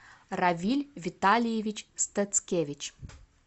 равиль витальевич стацкевич